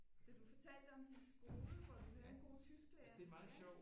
Så du fortalte om din skole hvor du havde en god tysklærer